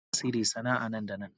Kira mai tasiri sana'a nan da nan.